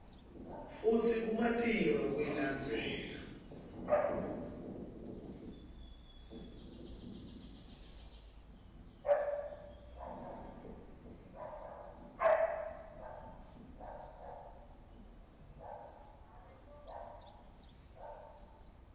futsi kumatima kuyilandzela